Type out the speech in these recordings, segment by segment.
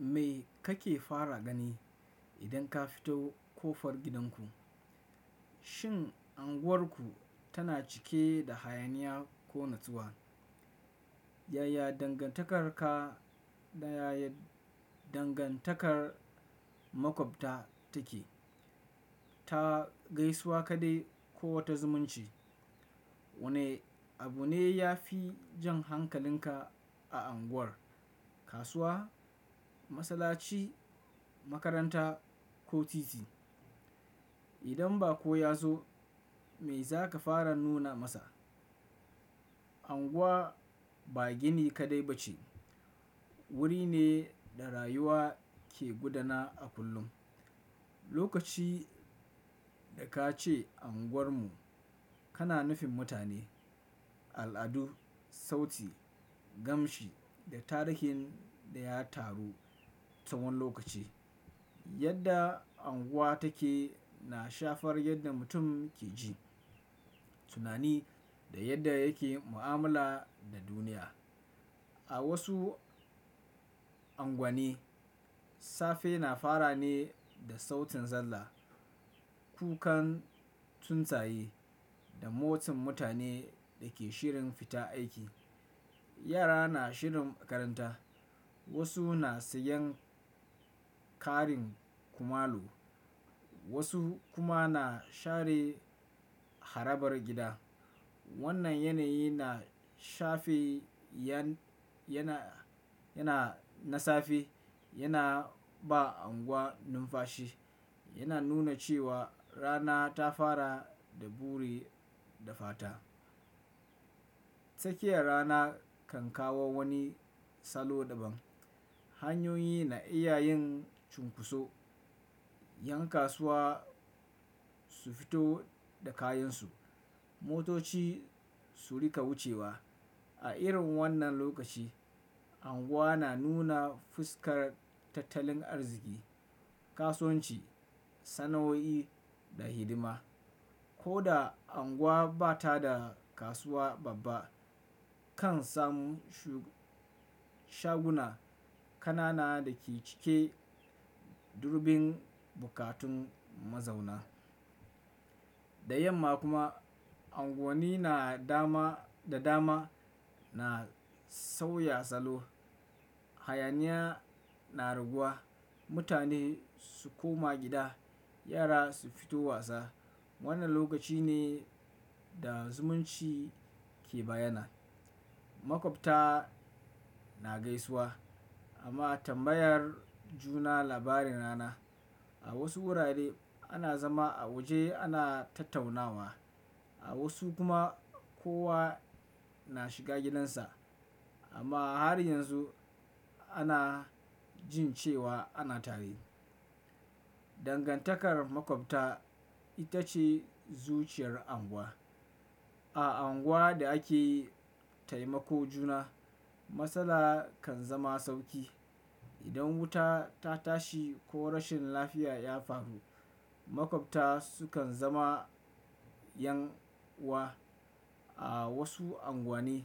Me kake fara gani idan ka fito ƙofar gidanku? Shin unguwarku tana cike da hayaniya ko natsuwa? Yaya dangantakarka da yaye dangantakar maƙwabta take? Ta gaisuwa kaɗai ko wata zumunci? Wane abu ne ya fi jan hankalinka a unguwar kasuwa, masallaci, makaranta ko titi? Idan baƙo ya zo me za ka fara nuna masa? Unguwa ba gini kaɗai ba ce. Wuri ne da rayuwa ke gudana a kullum. Lokaci da ka ce unguwarmu kana nufin mutane, al'adu, sauti, gamshi da tarihin da ya taru tsawon lokaci. Yadda unguwa take na shafar yadda mutum ke ji, tunani da yadda yake mu'amala da duniya. A wasu unguwanni safe na fara ne da sautin zalla, kukan tsuntsaye da motan mutanen da ke shirin fita aiki. Yara na shirin makaranta. Wasu na sayan ƙarin kumalo, wasu kuma na share harabar gida. Wannan yanayi na shafe yana yana na safe yana ba unguwa numfashi. Yana nuna cewa rana ta fara da buri da fata. Tsakiyar rana kan kawo wani salo daban. Hanyoyi na iya yin cunkoso. Yan kasuwa su fito da kayansu. Motoci su riƙa wucewa. A irin wannan lokaci, unguwa na nuna fuskar tattalin arziki, kasuwanci, sana'o'i da hidima. Ko da unguwa ba ta da kasuwa babba kan samu shaguna kanana da ke cike da dubun bukatun mazauna. Da yamma kuma unguwanni na dama da dama na sauya salo. Hayaniya na raguwa. Mutane su koma gida. Yara su fito wasa. Wannan lokaci ne da zumunci ke bayyana. Maƙwabta na gaisuwa amma tambayar juna labarin rana. A wasu wurare ana zama a waje ana tattaunawa. A wasu kuma kowa na shiga gidansa amma har yanzu ana jin cewa ana tare. Dangantakar maƙwabta ita ce zuciyar unguwa. A unguwar da ake taimako juna, matsala kan zama sauki. Idan wuta ta tashi ko rashin lafiya ya faru. Maƙwabta sukan zama yan'uwa. A wasu unguwanni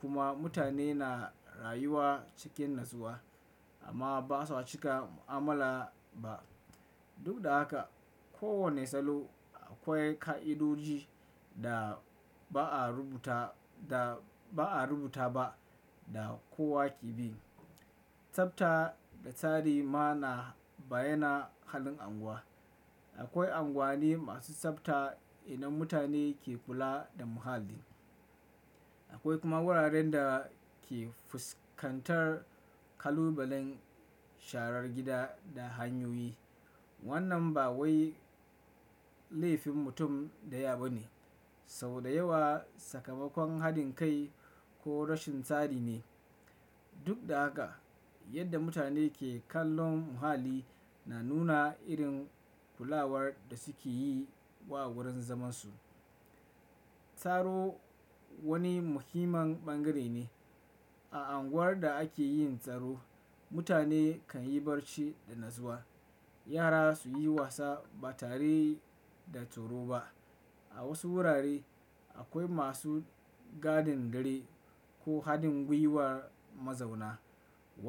kuma mutane na rayuwa cikin natsuwa amma ba sa cika mu'amala ba. Duk da haka, kowane salo akwai ka'idoji da ba'a rubuta ba da kowa ke bi. Tsabta da tsari ma na bayyana halin unguwa. Akwai unguwanni masu tsabta inda mutane ke kula da muhalli. Akwai kuma wuraren da ke fuskantar kalubalen sharar gida da hanyoyi. Wannan ba wai laifin mutum ɗaya ba ne, sau da yawa sakamakon haɗin kai ko rashin tsari ne. Duk da haka, yadda mutane ke kallon muhalli na nuna irin kulawar da suke yi wa wurin zaman su. Tsaro wani muhimman ɓangare ne a unguwar da ake yin tsaro. Mutane kan yi barci da natsuwa. Yara su yi wasa ba tare da tsoro ba. A wasu wurare akwai masu gadin dare ko haɗin gwiwar mazauna. Wannan.